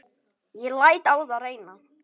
Ég læt á það reyna.